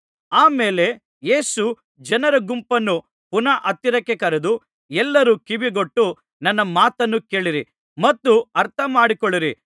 ಆ ಮೇಲೆ ಯೇಸು ಜನರ ಗುಂಪನ್ನು ಪುನಃ ಹತ್ತಿರಕ್ಕೆ ಕರೆದು ಎಲ್ಲರೂ ಕಿವಿಗೊಟ್ಟು ನನ್ನ ಮಾತನ್ನು ಕೇಳಿರಿ ಮತ್ತು ಅರ್ಥ ಮಾಡಿಕೊಳ್ಳಿರಿ